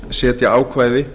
setja ákvæði